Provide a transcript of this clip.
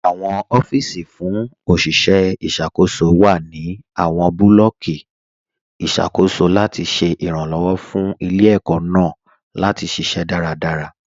Awọn ọfiisi fún oṣiṣẹ iṣakoso wa nínu awọn bulọọki iṣakoso latí ṣẹ iranlọwọ fún ilẹ̀-ẹkó̀ naà latí ṣiṣẹ̀ daradara.